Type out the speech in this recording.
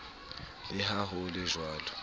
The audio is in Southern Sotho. le ha ho le jwalo